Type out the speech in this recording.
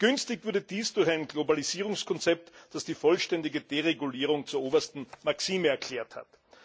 Begünstigt wurde dies durch ein Globalisierungskonzept, das die vollständige Deregulierung zur obersten Maxime erklärt hat.